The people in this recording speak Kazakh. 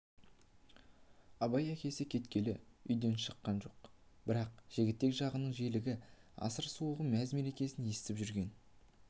абай әкесі кеткелі үйден шаққан жоқ бірақ жігітек жағының желігін асыр-сауығын мәз-мерекесін естіп жүрген